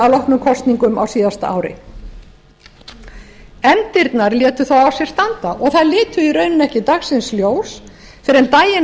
loknum kosningum á síðasta ári efndirnar létu þó á sér standa og þær litu í rauninni ekki dagsins ljós fyrr en daginn